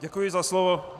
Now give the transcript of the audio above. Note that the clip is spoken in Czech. Děkuji za slovo.